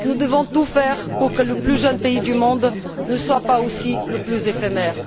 Nous devons tout faire pour que le plus jeune pays du monde ne soit pas aussi le plus éphémère.